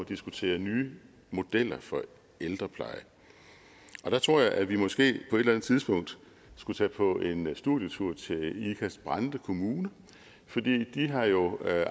diskutere nye modeller for ældrepleje og der tror jeg at vi måske på et eller andet tidspunkt skulle tage på en studietur til ikast brande kommune for de har jo